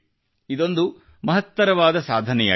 ಇದೊಂದು ಮಹತ್ತರವಾದ ಸಾಧನೆಯಾಗಿದೆ